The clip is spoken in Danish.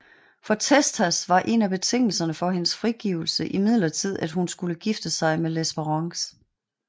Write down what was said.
For Testas var en af betingelserne for hendes frigivekse imidlertid at hun skulle gifte sig med Lespérance